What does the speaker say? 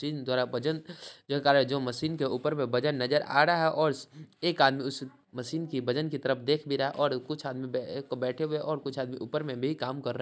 Tin द्वारा वजन जो जो मशीन के ऊपर में वजन नजर आ रहा है और एक आदमी उस मशीन की वजन की तरफ देख भी रहा है और कुछ आदमी बैठे हुए है और कुछ आदमी ऊपर में भी काम कर रहे।